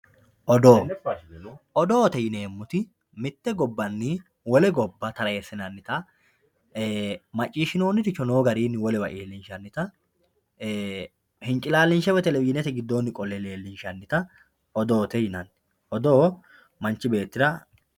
Odoo, odoote yinemoti mite gobanni wole gobba tarreessinanitta, maccishinoniricho noo gedeeni wolewa iilli'nshanita , hincilalindhe woyi televishinete gidoonni leeli'nshanitta odoote yinnanni odoo manchi beetira